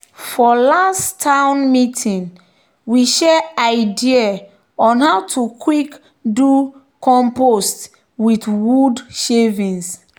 "for last town meeting we share idea on how to quick do compost with wood shavings."